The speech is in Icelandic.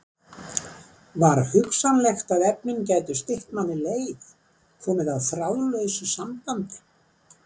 Var hugsanlegt að efnin gætu stytt manni leið, komið á þráðlausu sambandi?